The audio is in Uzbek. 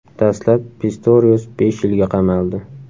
Dastlab Pistorius besh yilga qamaldi.